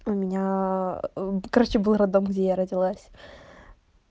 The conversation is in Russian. у меня короче был роддом где родилась